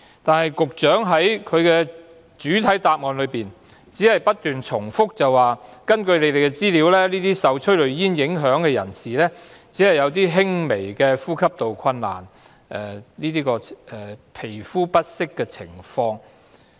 然而，局長在主體答覆只不斷重複指出，根據局方資料，受催淚煙影響的人士只會出現輕微的呼吸困難和皮膚不適的情況。